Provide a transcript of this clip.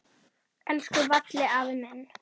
Elsku Valli afi minn.